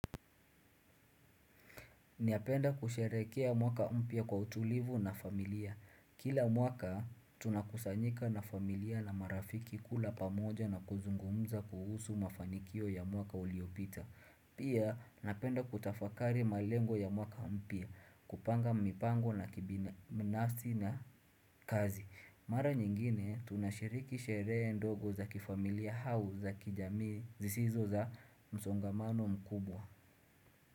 Napenda kusherekea mwaka mpya kwa utulivu na familia. Kila mwaka, tuna kusanyika na familia na marafiki kula pamoja na kuzungumza kuhusu mafanikio ya mwaka uliopita. Pia, napenda kutafakari malengo ya mwaka mpya, kupanga mipango na kibinafsi na kazi. Mara nyingine, tunashiriki sheree ndogo za kifamilia au za kijami zisizo za msongamano mkubwa.